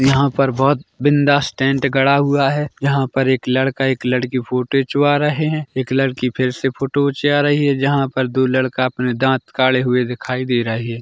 यहाँ पर बहोत बिंदास टेंट गड़ा हुआ है यहाँ पर एक लड़का एक लड़की फोटो खींचवा रहे है एक लड़की फिर से फोटो उचिया रही ऐ जहाँ पर दो लड़का अपने दाँत काढ़े हुए दिखाई दे रहे --